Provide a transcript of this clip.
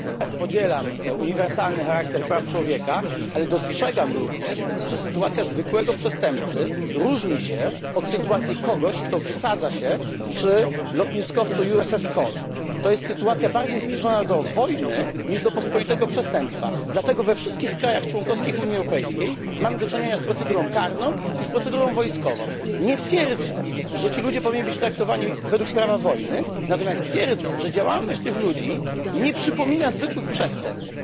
Podzielam zdanie, że prawa człowieka mają uniwersalny charakter, ale dostrzegam również, że sytuacja zwykłego przestępcy różni się od sytuacji kogoś, kto wysadza się przy lotniskowcu USS Cole. To jest sytuacja bardziej zbliżona do wojny, niż do pospolitego przestępstwa, dlatego we wszystkich państwach członkowskich Unii Europejskiej mamy do czynienia z procedurą karną i z procedurą wojskową. Nie twierdzę, że ci ludzie powinni być traktowani według prawa wojny. Twierdzę natomiast, że działalność tych ludzi nie przypomina zwykłych przestępstw.